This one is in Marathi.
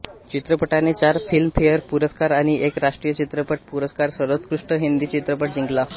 चित्रपटाने चार फिल्मफेअर पुरस्कार आणि एक राष्ट्रीय चित्रपट पुरस्कार सर्वोत्कृष्ट हिंदी चित्रपट जिंकला